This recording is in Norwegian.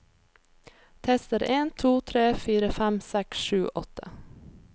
Tester en to tre fire fem seks sju åtte